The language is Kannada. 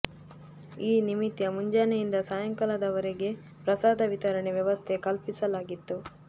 ಈ ನಿಮಿತ್ಯ ಮುಂಜಾನೆಯಿಂದ ಸಾಯಂಕಾಲದ ವರೆಗೆ ಪ್ರಸಾದ ವಿತರಣೆ ವ್ಯವಸ್ಥೆ ಕಲ್ಪಿಸಲಾಗಿತ್ತು